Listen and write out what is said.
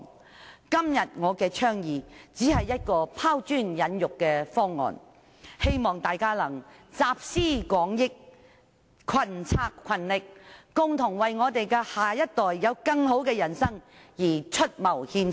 我今天的倡議只是一項拋磚引玉的方案，希望大家能集思廣益，群策群力，共同為下一代有更美好的人生而出謀獻策。